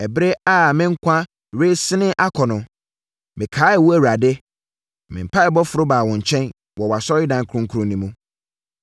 “Ɛberɛ a me nkwa resene akɔ no, mekaee wo Awurade, na me mpaeɛbɔ foro baa wo nkyɛn, wɔ wʼasɔredan kronkron no mu.